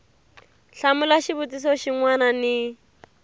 hlamula xivutiso xin wana ni